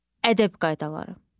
Ədəb qaydaları.